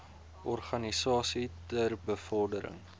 organisasies ter bevordering